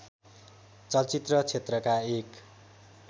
चलचित्र क्षेत्रका एक